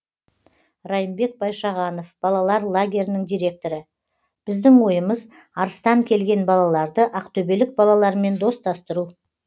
райымбек байшағанов балалар лагерінің директоры біздің ойымыз арыстан келген балаларды ақтөбелік балалармен достастыру